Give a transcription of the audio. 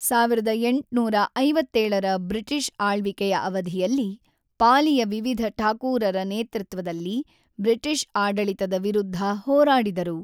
೧೮೫೭ರ British ಆಳ್ವಿಕೆಯ ಅವಧಿಯಲ್ಲಿ, ಪಾಲಿಯ ವಿವಿಧ ಠಾಕೂರರ ನೇತೃತ್ವದಲ್ಲಿ ಬ್ರಿಟಿಷ್ ಆಡಳಿತದ ವಿರುದ್ಧ ಹೋರಾಡಿದರು.